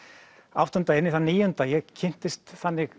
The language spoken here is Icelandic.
áttunda inn í þann níunda ég kynnist þannig